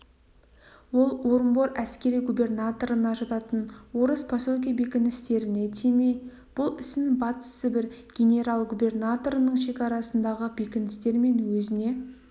ол орынбор әскери губернаторына жататын орыс поселке бекіністеріне тимей бұл ісін батыс сібір генерал-губернаторының шекарасындағы бекіністер мен өзіне